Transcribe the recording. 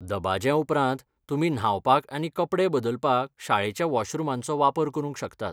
दबाज्या उपरांत, तुमी न्हावपाक आनी कपडे बदलपाक शाळेच्या वॉशरुमांचो वापर करूंक शकतात.